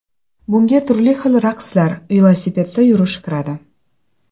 Bunga turli xil raqslar, velosipedda yurish kiradi.